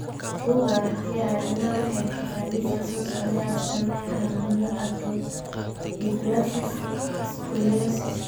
Bugga Aragtiyaha Aadanaha waxay bixisaa liiska soo socda ee astaamaha iyo calaamadaha Acrodysplasia scoliosis.